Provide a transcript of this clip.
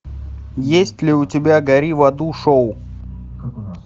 есть ли у тебя гори в аду шоу